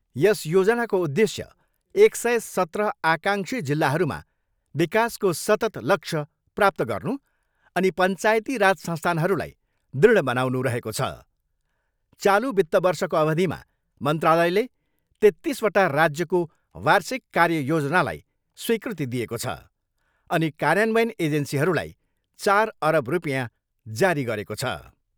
यस योजनाको उद्देश्य एक सय सत्र आकाङ्क्षी जिल्लाहरूमा विकासको सततः लक्ष्य प्राप्त गर्नु अनि पञ्चायती राज संस्थानहरूलाई दृढ बनाउनु रहेको छ। चालु वित्त वर्षको अवधिमा मन्त्रालयले तेत्तिसवटा राज्यको वार्षिक कार्य योजनालाई स्वीकृति दिएको छ अनि कार्यान्वयन एजेन्सीहरूलाई चार अरब रुपियाँ जारी गरेको छ।